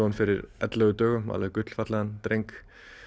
fyrir ellefu dögum alveg gullfallegan dreng